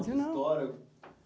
História?